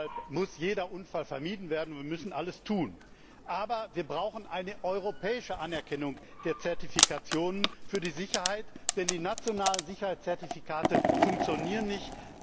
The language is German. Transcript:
Deshalb muss jeder Unfall vermieden werden, und wir müssen alles dafür tun. Aber wir brauchen eine europäische Anerkennung der Zertifikationen für die Sicherheit, denn die nationalen Sicherheitszertifikate funktionieren nicht.